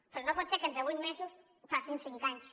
però no pot ser que entre vuit mesos passin cinc anys